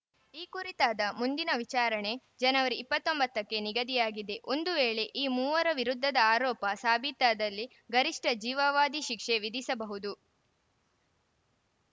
ಈ ಕುರಿತಾದ ಮುಂದಿನ ವಿಚಾರಣೆ ಜನವರಿ ಇಪ್ಪತ್ತ್ ಒಂಬತ್ತಕ್ಕೆ ನಿಗದಿಯಾಗಿದೆ ಒಂದು ವೇಳೆ ಈ ಮೂವರ ವಿರುದ್ಧದ ಆರೋಪ ಸಾಬೀತಾದಲ್ಲಿ ಗರಿಷ್ಠ ಜೀವಾವಧಿ ಶಿಕ್ಷೆ ವಿಧಿಸಬಹುದು